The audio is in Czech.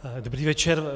Dobrý večer.